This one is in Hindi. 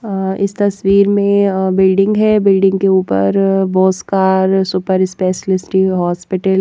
अह इस तस्वीर में अह बिल्डिंग है बिल्डिंग के ऊपर boss care super specialist hospital --